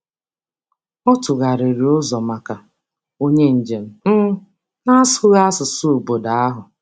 Ọ tụgharịrị ntụzịaka nye onye njem na-asụghị asụsụ obodo ahụ.